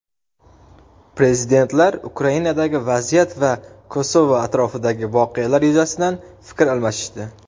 Prezidentlar Ukrainadagi vaziyat va Kosovo atrofidagi voqealar yuzasidan fikr almashishdi.